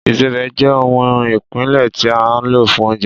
Ìsebẹ̀ jẹ́ ohun ìpìlẹ̀ tí a lò fún oúnjẹ